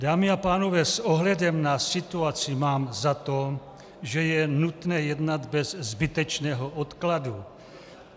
Dámy a pánové, s ohledem na situaci mám za to, že je nutné jednat bez zbytečného odkladu.